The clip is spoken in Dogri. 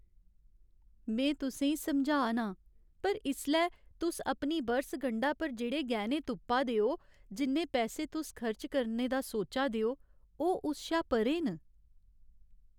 में तुसें ई समझा ना आं, पर इसलै तुस अपनी बरसगंढा पर जेह्ड़े गैह्‌ने तुप्पा दे ओ, जिन्ने पैसे तुस खर्च करने दा सोचा दे ओ, ओह् उस शा परें न ।